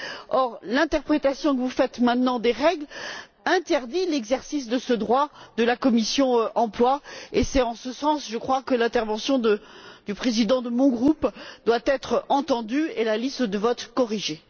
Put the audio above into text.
Or, l'interprétation que vous faites maintenant des règles interdit l'exercice de ce droit de la commission de l'emploi et des affaires sociales. Et c'est en ce sens, je crois, que l'intervention du président de mon groupe doit être entendue et la liste de vote, corrigée.